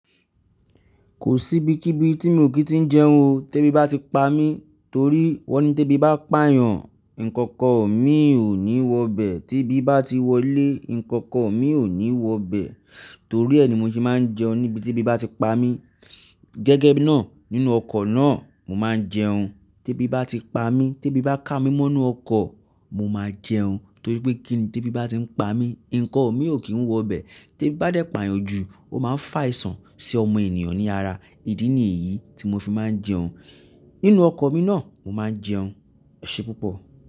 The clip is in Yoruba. Kò sí ibi kí ibi tí mo kì í tí ń jẹun o. Tẹ́bí bá ti pa mí torí wọ́n ní tí ẹbi pà eeyan, ǹnkankan mi ò ní wọ bẹ̀. Tí ẹbi ti wọlé, ǹnkankan mi ò ní wọ bẹ̀. Torí ẹ ni mo ṣe máa ń jẹun níbi tí ẹ bá ti pa mí. Gẹ́gẹ́ bí náà nínú ọkọ̀ náà mo máa ń jẹun. Tẹ́bí bá ti pa mí, tẹ́bí bá ká mi mọ́nu ọkọ̀, mo máa jẹun. Torí pé kíni tẹ́bí bá ti ń pa mí, ǹnkan mi ò kí ń wọ bẹ̀. Tẹ́bí bá dẹ̀ pààyan ju, ó máa ń fàìsàn sí ọmọ ènìyàn ní ara. Ìdí nìyí tí mo fi máa ń jẹun. Nínú ọkọ̀ mi náà mo máa ń jẹun. Ọ̀ ṣe púpọ̀